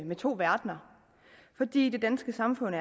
med to verdener fordi det danske samfund